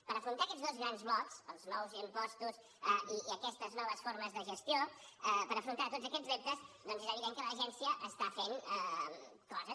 per afrontar aquests dos grans blocs els nous impostos i aquestes noves formes de gestió per afrontar tots aquests reptes doncs és evident que l’agència està fent coses